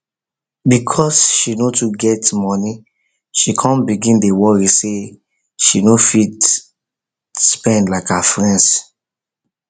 because she no too get money she come begin dey worry say she no dey fit spend like her friends